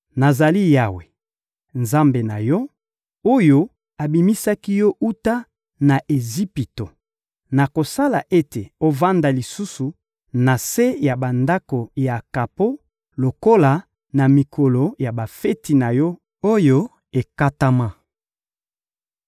Nazali Yawe, Nzambe na yo, oyo abimisaki yo wuta na Ejipito; nakosala ete ovanda lisusu na se ya bandako ya kapo lokola na mikolo ya bafeti na yo, oyo ekatama.